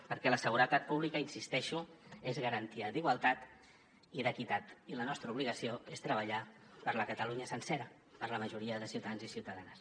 perquè la seguretat pública hi insisteixo és garantia d’igualtat i d’equitat i la nostra obligació és treballar per la catalunya sencera per la majoria de ciutadans i ciutadanes